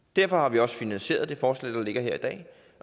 derfor har vi også finansieret det forslag der ligger her i dag